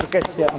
Çerkasen.